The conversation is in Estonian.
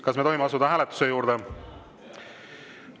Kas me tohime asuda hääletuse juurde?